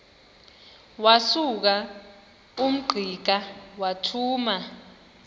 wasuka ungqika wathuma